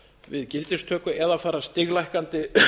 við gildistöku eða fara stiglækkandi